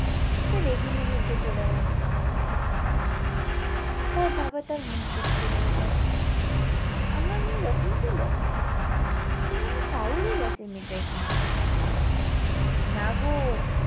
সে রেগে মেগে উঠে চলে গেলো তার বাবা তার মুখ দেখতে রয়ে গেলো আমার মেয়ে এরকম ছিল কি জানি পাগল হয়েগেছে মেয়েটা এখানে এসে না গো।